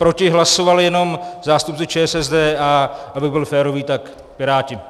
Proti hlasovali jenom zástupci ČSSD, a abych byl férový, tak Piráti.